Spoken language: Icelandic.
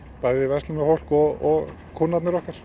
bæði verslunarfólk og kúnnarnir okkar